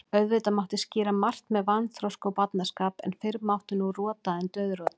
Auðvitað mátti skýra margt með vanþroska og barnaskap, en fyrr mátti nú rota en dauðrota.